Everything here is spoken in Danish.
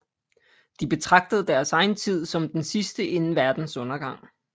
De betragtede deres egen tid som den sidste inden verdens undergang